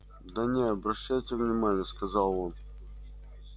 да не обращайте внимание сказал он